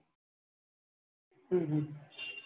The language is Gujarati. હમ